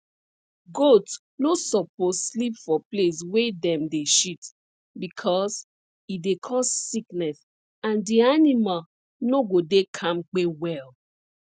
goat no suppose sleep for place wey dem dey shit because e dey cause sickness and the animal no go dey kampe well